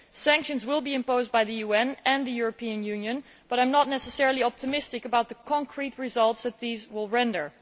Sanctions will be imposed by the UN and the European Union but I am not necessarily optimistic about the concrete results that these will render.